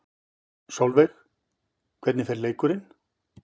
Sólveig: Hvernig fer leikurinn?